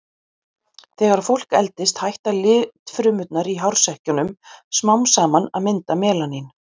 Þegar fólk eldist hætta litfrumurnar í hársekkjunum smám saman að mynda melanín.